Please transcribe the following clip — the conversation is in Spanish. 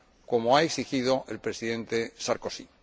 como ha exigido el Presidente Sarkozy.